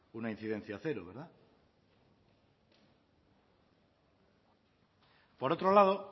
una incidencia cero verdad por otro lado